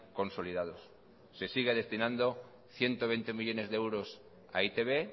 consolidados se sigue destinando ciento veinte millónes de euros a e i te be